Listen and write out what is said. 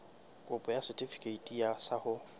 kopo ya setefikeiti sa ho